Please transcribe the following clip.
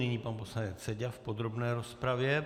Nyní pan poslanec Seďa v podrobné rozpravě.